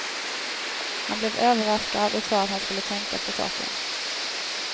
Han blev överraskad och sade att han skulle tänka på saken.